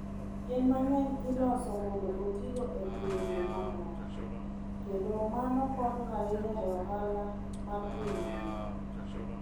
Yien mang'eny iloso mondo otigo e pinje mamoko, kendo mano konyo ahinya e ohala mar piny mangima.